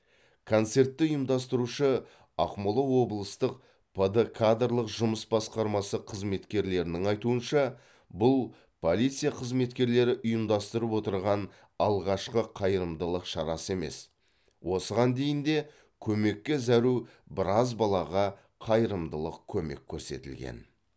концертті ұйымдастырушы ақмола облыстық пд кадрлық жұмыс басқармасы қызметкерлерінің айтуынша бұл полиция қызметкелері ұйымдастырып отырған алғашқы қайырымдылық шарасы емес осыған дейін де көмекке зәру біраз балаға қайырымдылық көмек көрсетілген